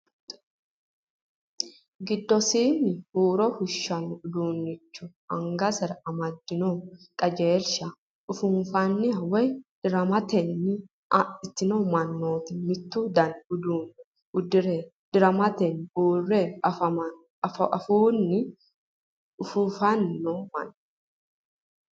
Giddosinni huuro fushshanno uduunnicho angansara amadinohu, qajeelsha ufuufanniha woy diramanniha adhino manni mittu dani uduunne uddire dirammetenni uurre afuunni ufuufanni noo manna.